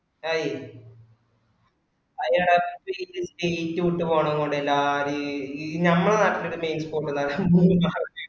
ആയ്യ് അയനട ഇപ് ഇ state വിട്ട് പോവന്നൊണ്ട് എല്ലാര് നമ്മള നാട്ടില് പിന്നാ